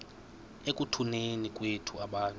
ekutuneni kwethu abantu